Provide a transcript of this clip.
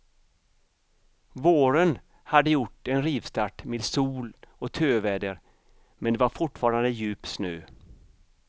Våren hade gjort en rivstart med sol och töväder men det var fortfarande djup snö.